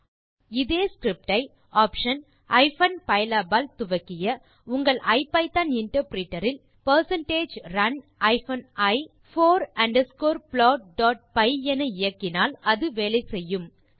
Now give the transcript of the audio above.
ஆனால் இதே ஸ்கிரிப்ட் ஐ ஆப்ஷன் ஹைப்பன் பைலாப் ஆல் துவக்கிய உங்கள் ஐபிதான் இன்டர்பிரிட்டர் இல் run i போர் அண்டர்ஸ்கோர் plotபை என இயக்கினால் அது வேலை செய்யும்